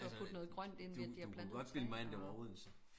Altså du du kunne godt bilde mig ind det var Odense